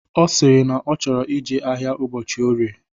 Ọ sịrị na ọ chọrọ ije ahịa ụbọchị orie